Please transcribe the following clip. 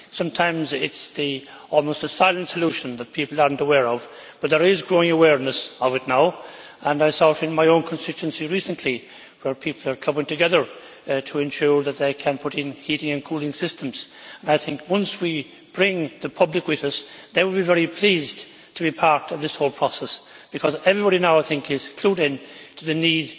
Sometimes it is almost the silent solution that people are not aware of, but there is growing awareness of it now and I saw it in my own constituency recently, where people are clubbing together to ensure that they can put in heating and cooling systems. I think that, once we bring the public with us, they will be very pleased to be part of this whole process, because everybody now, I think, is clued in to the need